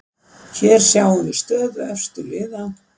Hér sjáum við stöðu efstu liða.